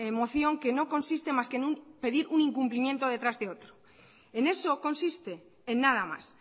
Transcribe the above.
moción que no consiste más que en pedir un incumplimiento detrás de otro en eso consiste en nada más